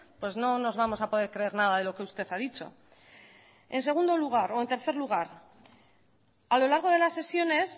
pues no nos vamos a poder creer nada de lo que usted ha dicho en tercer lugar a lo largo de las sesiones